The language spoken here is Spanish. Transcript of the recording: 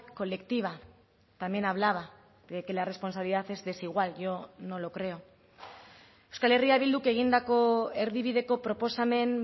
colectiva también hablaba de que la responsabilidad es desigual yo no lo creo euskal herria bilduk egindako erdibideko proposamen